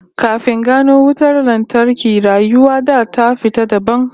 Kafin gano wutar lantarki, rayuwar da ta fita dabam